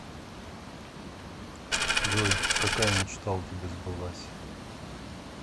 джой какая мечта у тебя сбылась